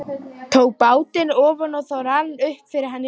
Tók bátinn ofan og þá rann upp fyrir henni ljós.